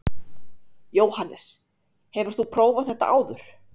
Jóhannes: Hefur þú prófað þetta áður?